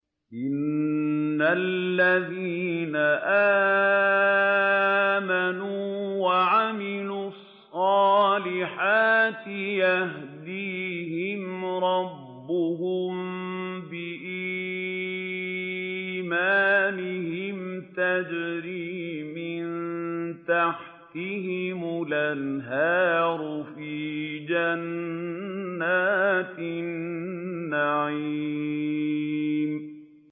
إِنَّ الَّذِينَ آمَنُوا وَعَمِلُوا الصَّالِحَاتِ يَهْدِيهِمْ رَبُّهُم بِإِيمَانِهِمْ ۖ تَجْرِي مِن تَحْتِهِمُ الْأَنْهَارُ فِي جَنَّاتِ النَّعِيمِ